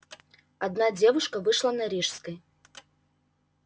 одна девушка вышла на рижской